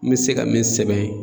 N mi se ka min sɛbɛn